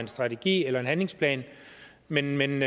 en strategi eller en handlingsplan men men